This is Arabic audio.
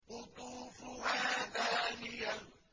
قُطُوفُهَا دَانِيَةٌ